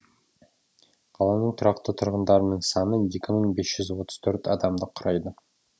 қаланың тұрақты тұрғындарының саны екі мың бес жүз отыз төрт адамды құрайды